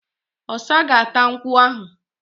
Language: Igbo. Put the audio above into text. Ọ̀sa ga-áta nkwú ahụ